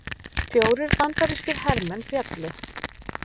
Fjórir bandarískir hermenn féllu